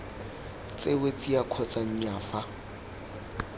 tsewe tsia kgotsa nnyaa fa